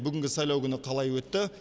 бүгінгі сайлау күні қалай өтті